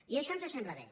i això ens sembla bé